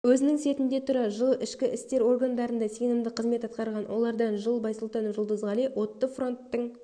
өзінің сертінде тұра жыл ішкі істер органдарында сенімді қызмет атқарған олардан жыл байсултанов жулдызғали отты фронттың